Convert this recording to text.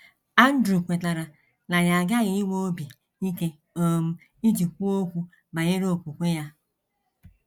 Andrew kwetara na ya aghaghị inwe obi ike um iji kwuo okwu banyere okwukwe ya.